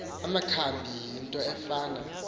amakhambi yinto efana